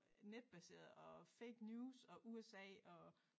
Netbaseret og fake news og USA og